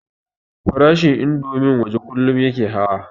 Farashin indomin waje kullum yake hawa